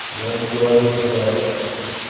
я ему говорю типа